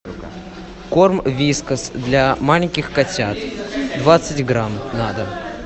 корм вискас для маленьких котят двадцать грамм на дом